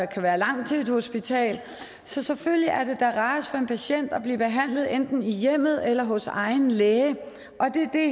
kan være langt til et hospital så selvfølgelig er det da rarest for en patient at blive behandlet enten i hjemmet eller hos egen læge og det er det